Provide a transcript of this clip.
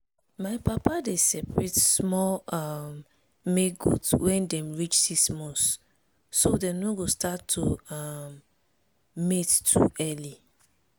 my papa dey separate small um male goat when dem reach six months so dem no go start to um mate too early.